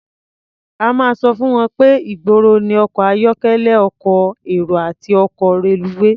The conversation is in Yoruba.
A máa sọ fún wọn pé ìgboro ní ọkọ̀ ayọ́kẹ́lẹ́, ọkọ̀ èrò àti ọkọ̀ reluwé.